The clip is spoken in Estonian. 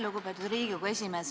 Lugupeetud Riigikogu esimees!